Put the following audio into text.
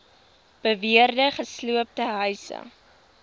beweerde gesloopte huise